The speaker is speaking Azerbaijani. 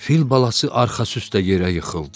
Fil balası arxası üstə yerə yıxıldı.